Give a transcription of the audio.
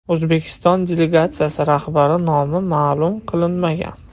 O‘zbekiston delegatsiyasi rahbari nomi ma’lum qilinmagan.